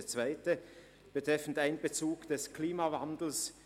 Der zweite Punkt betrifft den Einbezug des Klimawandels.